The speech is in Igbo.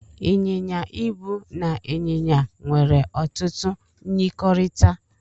Ị́n̄yin̄ya ịbụ na ịn̄yịn̄ya nwere otutu myirikọrịta.